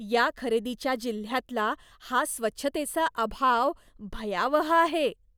या खरेदीच्या जिल्ह्यातला हा स्वच्छतेचा अभाव भयावह आहे.